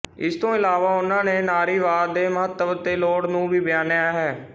ਇਸ ਤੋਂ ਇਲਾਵਾ ਉਹਨਾਂ ਨਾਰੀਵਾਦ ਦੇ ਮਹੱਤਵ ਤੇ ਲੋੜ ਨੂੰ ਵੀ ਬਿਆਨਿਆ ਹੈ